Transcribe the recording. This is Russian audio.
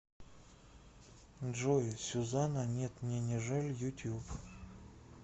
джой сюзанна нет мне не жаль ютюб